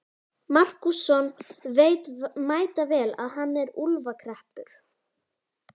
Markússon veit mætavel að hann er í úlfakreppu.